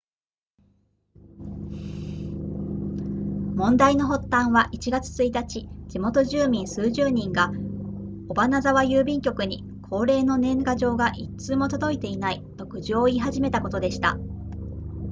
問題の発端は1月1日地元住民数十人が尾花沢郵便局に恒例の年賀状が1通も届いていないと苦情を言い始めたことでした